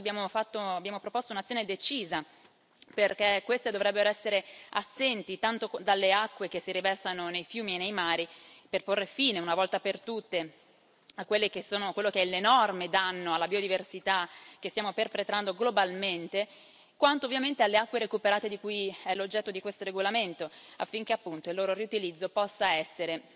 Su questo abbiamo proposto un'azione decisa, perché queste dovrebbero essere assenti, tanto dalle acque che si riversano nei fiumi e nei mari, per porre fine una volta per tutte a quello che è l'enorme danno alla biodiversità che stiamo perpetrando globalmente, quanto ovviamente alle acque recuperate che sono l'oggetto di questo regolamento, affinché appunto il loro riutilizzo possa essere